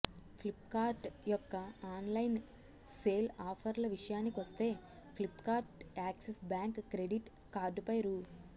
Flipkart యొక్క online sale ఆఫర్ల విషయానికొస్తే ఫ్లిప్కార్ట్ యాక్సిస్ బ్యాంక్ క్రెడిట్ కార్డుపై రూ